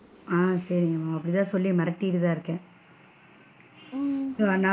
ஆஹ் சரிங்க ma'am அப்படி தான் சொல்லி மிரட்டிட்டு இருக்கேன். நான் சொல்லுவேன்,